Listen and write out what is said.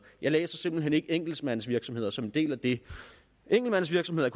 jeg læser simpelt hen ikke enkeltmandsvirksomheder som værende en del af det enkeltmandsvirksomheder